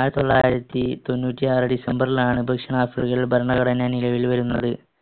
ആയിരത്തിത്തൊള്ളായിരത്തി തൊണ്ണൂറ്റിയാറ് December ലാണ് ദക്ഷിണാഫ്രിക്കയിൽ ഭരണഘടന നിലവിൽ വരുന്നത്.